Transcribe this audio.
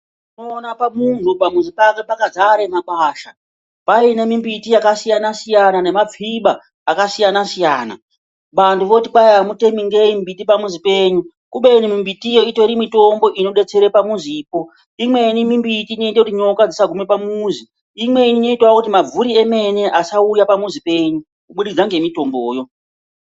Unoona munhu pamuzi pake pakazare makwasha, paine mumbiti yakasiyana siyana nemapfibaa akasiyana-siyana. Vantu voti kwai hamutemi nei miti pamuzi penyu, kubeni imweni itori mitombo inodetsera pamuzipo, imweni mimbiti inoite kuti nyoka dzisagume pamuzi, imweni inoitavo kuti mabvuri emene asauya pamuzi penyu kubudikidza nemitomboyoo.